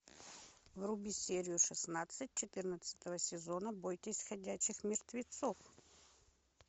вруби серию шестнадцать четырнадцатого сезона бойтесь ходячих мертвецов